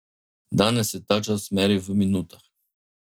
Danes se ta čas meri v minutah.